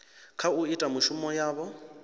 kha u ita mishumo yavho